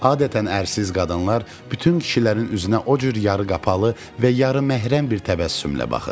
Adətən ərsiz qadınlar bütün kişilərin üzünə o cür yarı qapalı və yarıməhrəm bir təbəssümlə baxır.